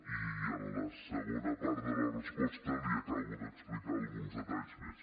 i en la segona part de la resposta li acabo d’explicar alguns detalls més